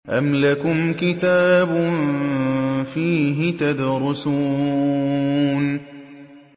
أَمْ لَكُمْ كِتَابٌ فِيهِ تَدْرُسُونَ